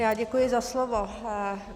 Já děkuji za slovo.